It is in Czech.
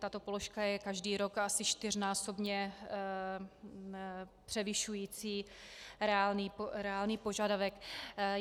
Tato položka je každý rok asi čtyřnásobně převyšující reálný požadavek.